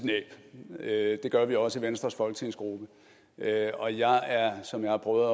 næb det gør vi også i venstres folketingsgruppe og jeg er som jeg har prøvet